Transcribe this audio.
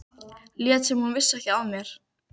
Lét sem hún vissi ekki af mér.